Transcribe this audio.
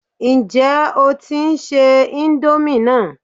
Ǹjẹ́ o tí ń se íńdómì náà?